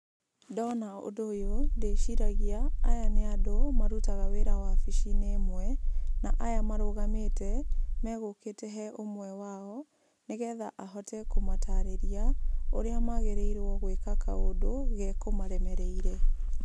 Ndona ũndũ ũyũ ndĩciragia aya nĩ andũ marutaga wĩra wobicinĩ ĩmwe, na aya marũgamĩte me gũkĩte he ũmwe wao, nĩ getha ahote kũmatarĩria ũrĩa magĩrĩirwo gwĩka kaũndũ ge kũmaremereire.